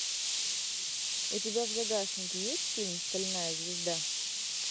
у тебя в загашнике есть фильм стальная звезда